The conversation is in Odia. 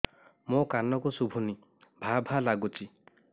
ମୋ କାନକୁ ଶୁଭୁନି ଭା ଭା ଲାଗୁଚି